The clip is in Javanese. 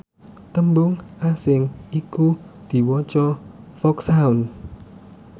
tembung asing iku diwaca foxhound